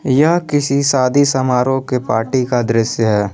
यह किसी शादी समारोह के पार्टी का दृश्य है।